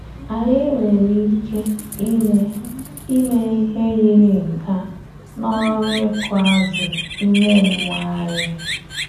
Anyị nwere ike ime ime ihe yiri nke a n’ọrụ ịkụ azụ ime mmụọ anyị.